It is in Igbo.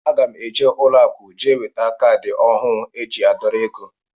Aga mụ eje n' ụlọ akụ jee weta caadi ọhụụ eji adorọ égo.